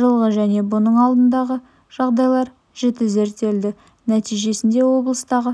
жылғы және бұның алдындағы жағдайлар жіті зерттелді нәтижесінде облыстағы